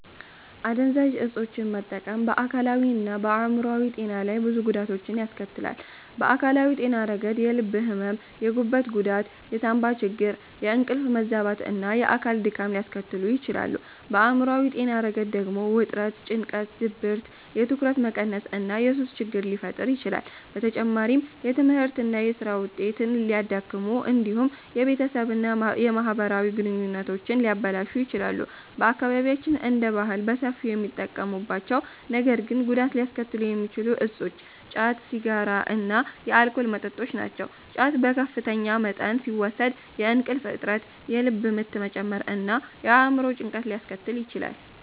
አደንዛዥ ዕፆችን መጠቀም በአካላዊና በአእምሯዊ ጤና ላይ ብዙ ጉዳቶችን ያስከትላል። በአካላዊ ጤና ረገድ የልብ ሕመም፣ የጉበት ጉዳት፣ የሳንባ ችግር፣ የእንቅልፍ መዛባት እና የአካል ድካም ሊያስከትሉ ይችላሉ። በአእምሯዊ ጤና ረገድ ደግሞ ውጥረት፣ ጭንቀት፣ ድብርት፣ የትኩረት መቀነስ እና የሱስ ችግር ሊፈጠር ይችላል። በተጨማሪም የትምህርትና የሥራ ውጤትን ሊያዳክሙ እንዲሁም የቤተሰብና የማህበራዊ ግንኙነቶችን ሊያበላሹ ይችላሉ። በአካባቢያችን እንደ ባህል በሰፊው የሚጠቀሙባቸው ነገር ግን ጉዳት ሊያስከትሉ የሚችሉ እፆች ጫት፣ ሲጋራ እና የአልኮል መጠጦች ናቸው። ጫት በከፍተኛ መጠን ሲወሰድ የእንቅልፍ እጥረት፣ የልብ ምት መጨመር እና የአእምሮ ጭንቀት ሊያስከትል ይችላል።